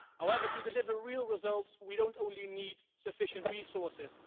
However, to deliver real results, we don't only need sufficient resources